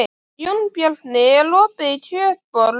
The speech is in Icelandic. Jónbjarni, er opið í Kjötborg?